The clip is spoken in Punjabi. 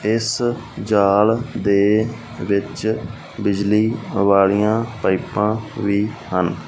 ਇਸ ਜਾਲ ਦੇ ਵਿੱਚ ਬਿਜਲੀ ਵਾਲੀਆਂ ਪਾਈਪਾਂ ਵੀ ਹਨ --